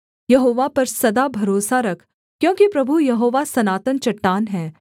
यहोवा पर सदा भरोसा रख क्योंकि प्रभु यहोवा सनातन चट्टान है